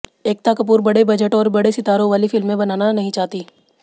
एकता कपूर बड़े बजट और बड़े सितारों वाली फिल्में बनाना नहीं चाहती